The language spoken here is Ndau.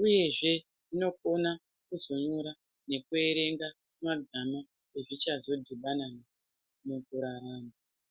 uyezve zvinokone kuzonyora nekuerenga magama ezvichazodhibana nawo mukurarama.